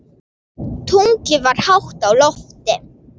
Tunglið var hátt á lofti.